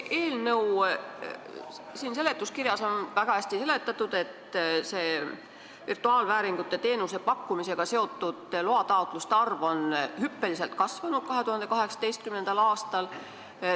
Eelnõu seletuskirjas on väga hästi seletatud, et virtuaalvääringu teenuse pakkumisega seotud loataotluste arv mullu hüppeliselt kasvas.